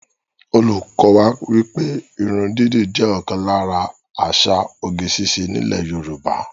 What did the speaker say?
Olùkọ́ wá wípé irun dídì jẹ́ ọ̀kan lára àṣà oge ṣíṣe ní ilè Yorùbá